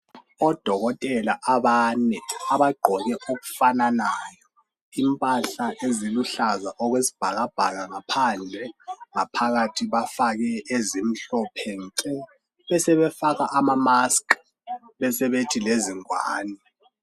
Odokotela abane abagqoke okufananayo impahla eziluhlaza okwesibhakabhaka ngaphandle, ngaphakathi bafake ezimhlophe nke. besebefaka amamasikhi besebethi lezingwane.